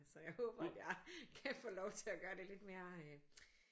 Så jeg håber at jeg kan få lov til at gøre det lidt mere